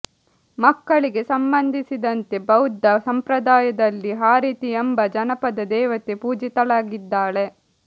ಮಕ್ಕಳಿಗೆ ಸಂಬಂಧಿಸಿದಂತೆ ಬೌದ್ಧ ಸಂಪ್ರದಾಯದಲ್ಲಿ ಹಾರಿತೀ ಎಂಬ ಜನಪದ ದೇವತೆ ಪೂಜಿತಳಾಗಿದ್ದಾಳೆ